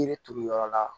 Yiri turu yɔrɔ la